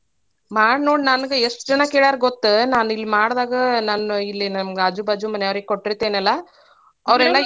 ಮಾಡ್ನೋಡ್ ನಂಗ್ ಎಷ್ಟ ಜನಾ ಕೇಳಾರ ಗೊತ್ತ ನಾನಿಲ್ ಮಾಡ್ದಾಗ ನಮ್ಮ ಇಲ್ಲೇ ನಮ್ಮ ಆಜು-ಬಾಜು ಮನ್ಯಾರ್ಗೆ ಕೊಟ್ಟೀರ್ತೀನಲ್ಲಾ ಅವರೇಲ್ಲಾ .